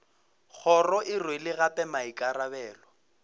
kgoro e rwele gape maikarabelo